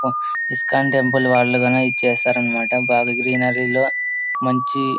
ISKCON temple వాళ్ళు గని ఇది చేస్తారన్నమాట బాగా గ్రీనరీ లో మంచి --